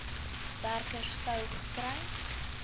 werker sou gekry